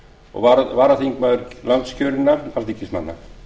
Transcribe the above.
og var varaþingmaður landskjörinna alþingismanna